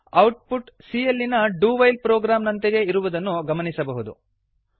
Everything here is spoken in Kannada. ಔಟ್ ಪುಟ್ c ಯಲ್ಲಿನ ಡು ವೈಲ್ ಪ್ರೊಗ್ರಾಮ್ ನಂತೆಯೇ ಇರುವುದನ್ನು ಗಮನಿಸಬಹುದು